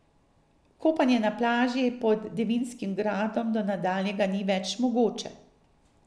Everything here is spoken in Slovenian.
Kopanje na plaži pod Devinskim gradom do nadaljnjega ni več mogoče.